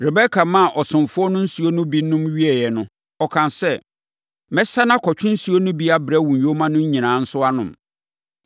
Rebeka maa ɔsomfoɔ no nsuo no bi nom wieeɛ no, ɔkaa sɛ, “Mɛsane akɔtwe nsuo no bi abrɛ wo nyoma no nyinaa nso anom.”